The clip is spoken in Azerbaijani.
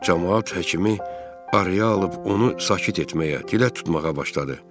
Camaat həkimi arı alıb onu sakit etməyə dilə tutmağa başladı.